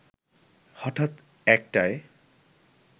হঠাৎ একটায়